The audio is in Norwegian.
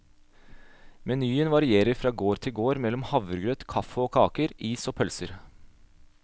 Menyen varierer fra gård til gård mellom havregrøt, kaffe og kaker, is og pølser.